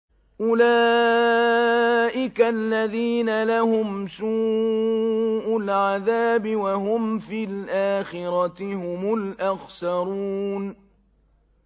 أُولَٰئِكَ الَّذِينَ لَهُمْ سُوءُ الْعَذَابِ وَهُمْ فِي الْآخِرَةِ هُمُ الْأَخْسَرُونَ